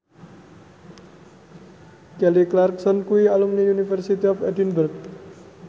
Kelly Clarkson kuwi alumni University of Edinburgh